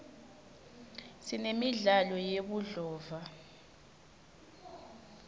sinemidlalo yebudlova